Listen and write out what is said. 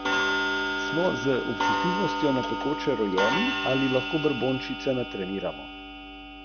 A domače niso dopustile priključka.